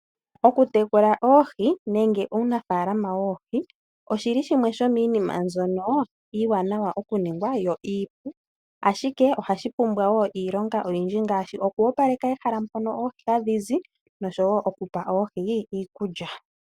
Oohi oha dhi munwa, ngele dha tulwa muundama nenge muundombe wo meya . Ta dhi tulilwa mo woo iikulya dhi koke .